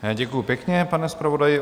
Děkuji pěkně, pane zpravodaji.